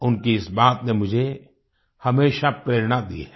उनकी इस बात ने मुझे हमेशा प्रेरणा दी है